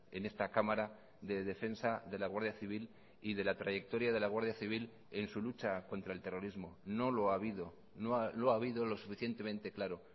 en esta cámara de defensa de la guardia civil y de la trayectoria de la guardia civil en su lucha contra el terrorismo no lo ha habido no lo ha habido lo suficientemente claro